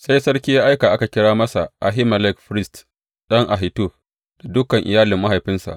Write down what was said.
Sai sarki ya aika aka kira masa Ahimelek firist ɗan Ahitub da dukan iyalin mahaifinsa.